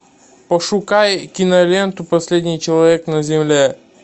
пошукай киноленту последний человек на земле